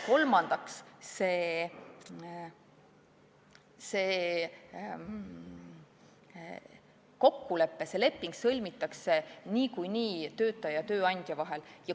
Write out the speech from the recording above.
Kolmandaks, see kokkulepe, see leping sõlmitakse niikuinii töötaja ja tööandja vahel.